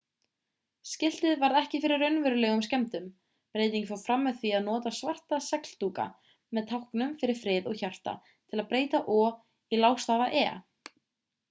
skiltið varð ekki fyrir raunverulegum skemmdum breytingin fór fram með því að nota svarta segldúka með táknum fyrir frið og hjarta til að breyta o í lágstafa e